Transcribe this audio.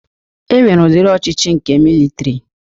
E nwere udiri ọchịchị nke militri